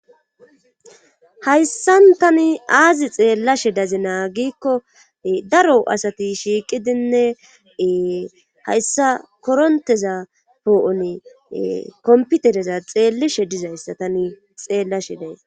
hayssan tani aazi xeellashe dazinaa giikko daro asati shiiqidinne hayssa koronteza poo7oni kompitereza xeellishe dizayssa tani xeellashe days.